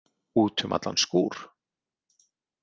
Út um allan skúr!